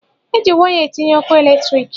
E ji waya etinye ọkụ eletriki.